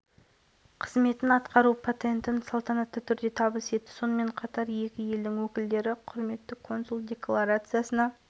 бұдан бөлек қатысушылардың пайызы қазанға пайызы владивостокқа пайызы хельсинкиге дауыс берген венгрияның қазақстан республикасындағы құрметті консулы